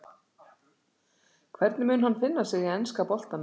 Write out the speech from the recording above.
Hvernig mun hann finna sig í enska boltanum?